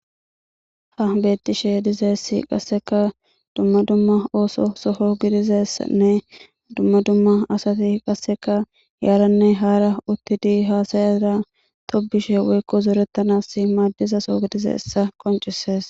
Ha beettishe di'zaysi qasseka dumma dumma ooso soho gidizeysanne dumma dumma asati qasseka yaaranne haara uttidi haasayara tobishe woykko zooretanas maaddizasoo gidize essa qoncisees